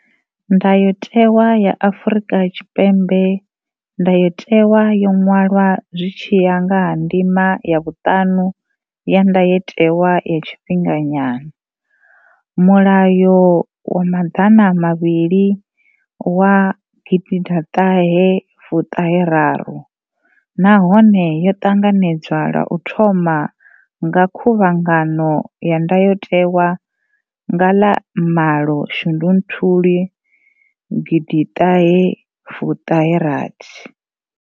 Ndayotewa ya Afrika Tshipembe ndayotewa yo ṅwalwa zwi tshi ya nga ndima ya vhuṱanu ya ndayotewa ya tshifhinganyana, mulayo wa maḓana mavhili wa gidiḓaṱahe fuṱahe raru nahone yo ṱanganedzwa lwa u thoma nga khuvhangano ya ndayotewa nga ḽa malo shundunthuli gidiṱahe fuṱahe rathi.